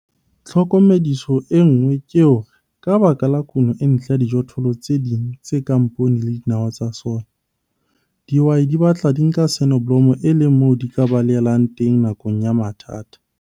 Tlhokomediso e nngwe ke hore ka baka la kuno e ntle ya dijothollo tse ding tse kang poone le dinawa tsa soya, dihwai di batla di nka soneblomo e le moo di ka balehelang teng nakong ya mathata.